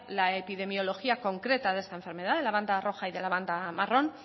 la epidemiología concreta de esta enfermedad el de la banda roja y de la banda marrón